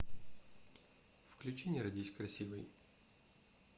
включи не родись красивой